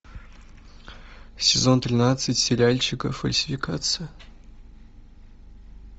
сезон тринадцать сериальчика фальсификация